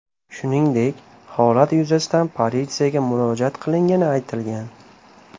Shuningdek, holat yuzasidan politsiyaga murojaat qilingani aytilgan.